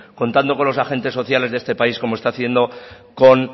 contando con los agentes sociales de este país como está haciendo con